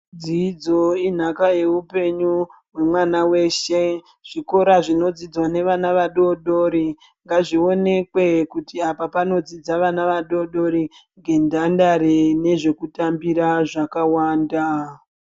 Dzidzo inhaka yeupenyu yemwana weshe zvikora zvinodzidzwa nevana vadodori ngazvionekwe kuti apa panodzidza vana vadodori ngenhandare nezvekutambira zvakawanda.